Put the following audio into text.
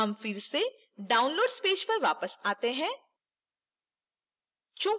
हम फिर से downloads पेज पर वापस we हैं